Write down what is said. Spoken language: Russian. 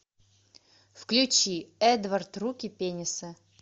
включи эдвард руки пенисы